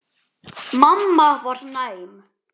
Mamma var næm.